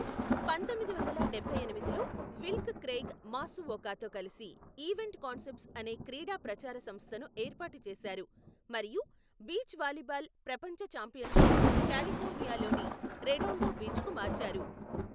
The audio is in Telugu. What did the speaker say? పంతొమ్మిది వందల డబ్బై ఎనిమిదిలో, విల్క్ క్రెయిగ్ మాసువోకాతో కలిసి ఈవెంట్ కాన్సెప్ట్స్ అనే క్రీడా ప్రచార సంస్థను ఏర్పాటు చేశారు మరియు బీచ్ వాలీబాల్ ప్రపంచ ఛాంపియన్షిప్ను కాలిఫోర్నియాలోని రెడోండో బీచ్కు మార్చారు.